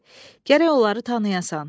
Gərək onları tanıyasan.